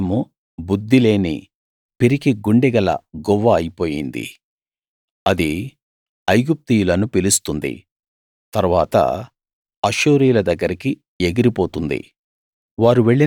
ఎఫ్రాయిము బుద్ధిలేని పిరికి గుండె గల గువ్వ అయిపోయింది అది ఐగుప్తీయులను పిలుస్తుంది తరువాత అష్షూరీయుల దగ్గరికి ఎగిరిపోతుంది